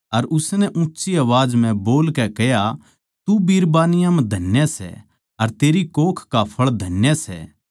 अर उसनै ऊँच्ची आवाज म्ह बोलकै कह्या तू बिरबानियाँ म्ह धन्य सै अर तेरी कोख का फळ धन्य सै